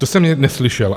To jsem neslyšel.